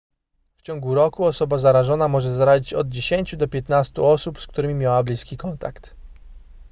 w ciągu roku osoba zarażona może zarazić od 10 do 15 osób z którymi miała bliski kontakt